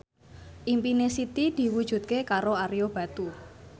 impine Siti diwujudke karo Ario Batu